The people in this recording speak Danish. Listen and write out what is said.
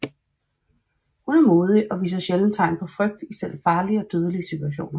Hun er modig og viser sjældent tegn på frygt i selv farlige og dødelige situationer